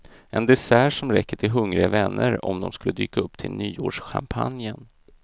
En dessert som räcker till hungriga vänner om de skulle dyka upp till nyårschampagnen.